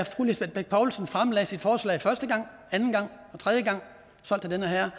fru lisbeth bech poulsen fremlagde sit forslag første gang anden gang tredje gang solgt til den herre